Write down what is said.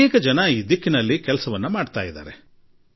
ಹಲವರು ಈ ನಿಟ್ಟಿನಲ್ಲಿ ಕೆಲಸವನ್ನೂ ಮಾಡಿದ್ದಾರೆ